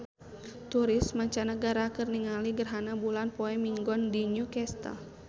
Turis mancanagara keur ningali gerhana bulan poe Minggon di New Castle